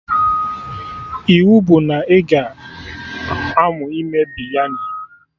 Iwu bụ na ị ga-aṅụ ime Biryani